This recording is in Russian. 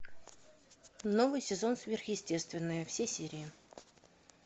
новый сезон сверхъестественное все серии